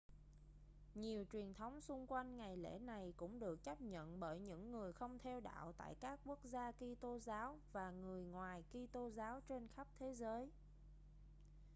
nhiều truyền thống xung quanh ngày lễ này cũng được chấp nhận bởi những người không theo đạo tại các quốc gia kitô giáo và người ngoài kitô giáo trên khắp thế giới